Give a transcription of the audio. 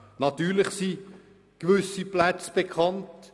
Natürlich sind gewisse Plätze bekannt.